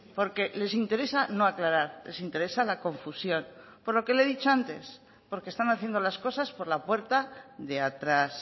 porque les interesa no aclarar les interesa la confusión por lo que le he dicho antes porque están haciendo las cosas por la puerta de atrás